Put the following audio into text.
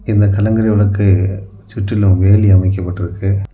இந்த கலங்கரை விளக்கு சுற்றிலும் வேலி அமைக்கப்பட்டிருக்கு.